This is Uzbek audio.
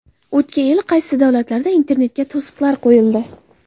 O‘tgan yili qaysi davlatlarda internetga to‘siqlar qo‘yildi?